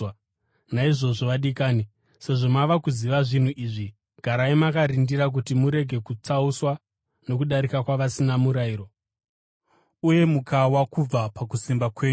Naizvozvo vadikani, sezvo mava kuziva zvinhu izvi, garai makarindira kuti murege kutsauswa nokudarika kwavasina murayiro uye mukawa kubva pakusimba kwenyu.